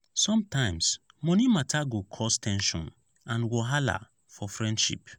sometimes money matter go cause ten sion and wahala for friendship.